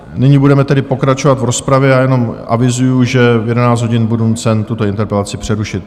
Nyní budeme tedy pokračovat v rozpravě a jenom avizuji, že v 11 hodin budu nucen tuto interpelaci přerušit.